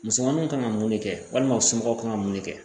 Musomaninw kan ka mun de kɛ walima u somɔgɔw kan ka mun de kɛ